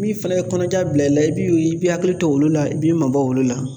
Min fana ye kɔnɔja bila i la, i b'i hakili t'olu la i b'i mabɔ olu la.